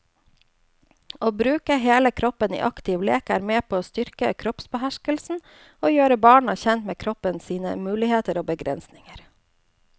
Å bruke hele kroppen i aktiv lek er med på å styrke kroppsbeherskelse og gjøre barna kjent med kroppen sine muligheter og begrensinger.